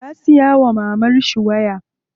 Ya siya wa mamarshi waya.